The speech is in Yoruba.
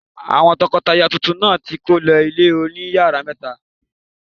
Àwọn tọkọtaya tuntun náà ti kó lọ ilé oní yàrá mẹ́ta.